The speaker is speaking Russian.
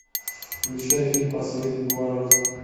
включай фильм последний поворот